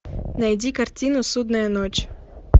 найди картину судная ночь